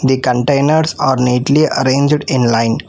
The containers are neatly arranged in line.